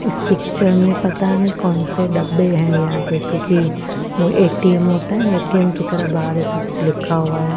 इस पिक्चर में पता नहीं कौन से डब्बे हैं या जैसे कि वो ए_ टी_ एम_ होता है ए_ टी_ एम_ की तरह बाहर ऐसे जैसे लिखा हुआ है।